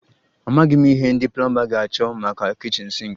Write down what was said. Amaghị m ihe ndị plomba ga-achọ maka kichin sinki